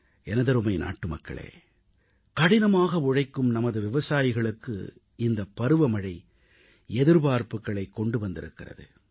எனதருமை நாட்டுமக்களே கடினமாக உழைக்கும் நமது விவசாயிகளுக்கு இந்தப் பருவமழை எதிர்பார்ப்புகளைக் கொண்டு வந்திருக்கிறது